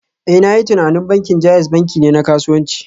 Eh, na yi tunanin bankin JAIZ banki ne na kasuwanci